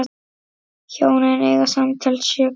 Hjónin eiga samtals sjö börn.